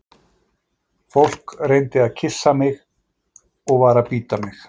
Fólk reyndi að kyssa mig og var að bíta mig.